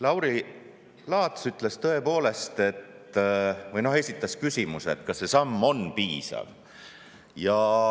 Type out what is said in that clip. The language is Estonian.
Lauri Laats esitas küsimuse, et kas see samm on piisav.